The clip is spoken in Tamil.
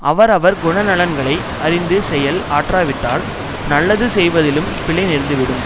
அவர் அவர் குணநலன்களை அறிந்து செயல் ஆற்றாவிட்டால் நல்லது செய்வதிலும் பிழை நேர்ந்து விடும்